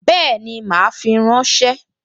Bẹ́ẹ̀ni, mà á fi ránṣẹ́